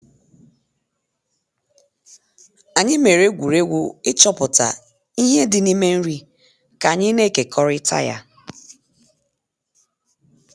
Anyị mere egwuregwu ịchọpụta ihe dị n’ime nri ka anyị na-ekekọrịta ya.